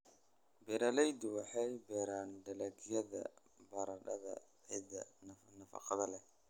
Beeralaydu waxay beeraan dalagyada baradhada ciidda nafaqada leh.